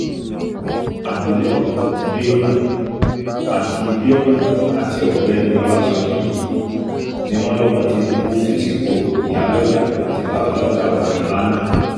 abilékọ biona àti biona àti ọ̀gbẹ́ni ọlásójì yìí ni wọ́n lọmọ tìnúbù fi sípò ìyálójà àti babálójà ọjà ńlá náà